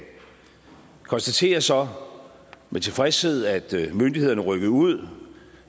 konstaterer så med tilfredshed at myndighederne rykkede ud